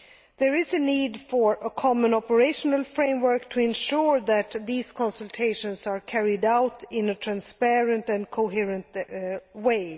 There is a need for a common operational framework to ensure that these consultations are carried out in a transparent and coherent way.